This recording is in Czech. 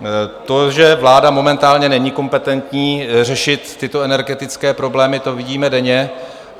To, že vláda momentálně není kompetentní řešit tyto energetické problémy, to vidíme denně.